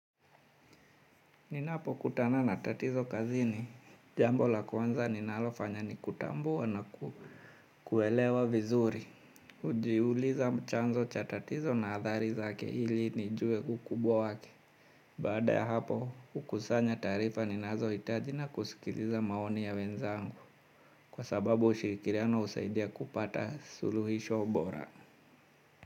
Ninapokutana na tatizo kazini, jambo la kwanza ninalofanya ni kutambua na kuelewa vizuri. Hujiuliza chanzo cha tatizo na athari zake ili nijue ukubwa wake. Bada ya hapo hukusanya taarifa ninazo hitaji na kusikiliza maoni ya wenzangu. Kwa sababu ushikirikiano husaidia kupata suluhisho bora.